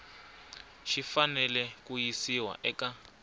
xi fanele ku yisiwa eka